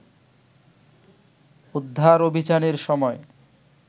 উদ্ধার অভিযানের সময়